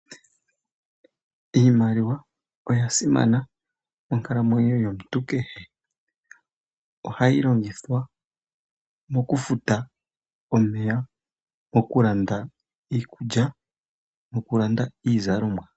Iimaliwa oya simana monkalamwenyo yomuntu kehe, oha yi longithwa mo ku futa omeya, moku landa iikulya, nokulanda iizalomwa.